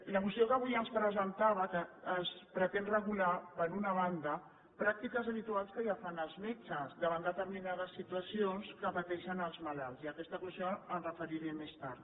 la moció que avui ens presentava que ens pretén regular per una banda pràctiques habituals que ja fan els metges davant determinades situacions que pateixen els malalts i a aquesta qüestió m’hi referiré més tard